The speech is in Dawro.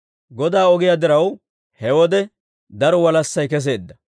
Godaa ogiyaa diraw, he wode daro walassay keseedda.